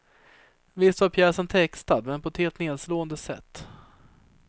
Visst var pjäsen textad, men på ett helt nedslående sätt.